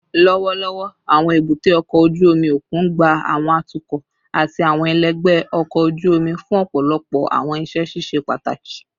Lọwọlọwọ, awọn ebute oko oju omi okun gba awọn atukọ ati awọn ẹlẹgbẹ ọkọ oju omi fun ọpọlọpọ awọn iṣẹ ṣiṣe pataki